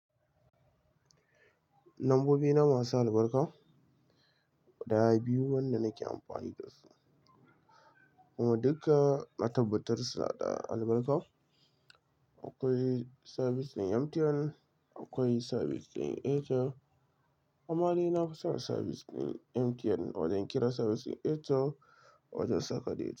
Lambobi na masu albarka, da ya biyu wanda nake amfani dasu. Amma duka na tabbatar suna da albarka. Akwai sabis ɗin MTN, akwai sabis ɗin Airtel. Amma dai na fi son sabis ɗin MTN odan kira sabis ɗin Airtel wajan saka data.